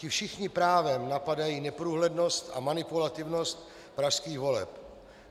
Ti všichni právem napadají neprůhlednost a manipulativnost pražských voleb.